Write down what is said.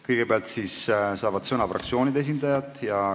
Kõigepealt saavad sõna fraktsioonide esindajad.